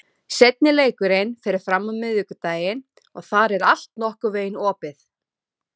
Seinni leikurinn fer fram á miðvikudaginn og þar er allt nokkurn veginn opið.